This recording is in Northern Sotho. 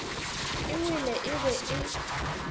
e wele e be e